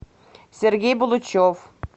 сергей булычев